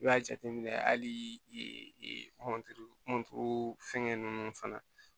I b'a jateminɛ hali fɛngɛ ninnu fana